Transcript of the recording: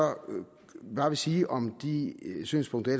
bare sige om de synspunkter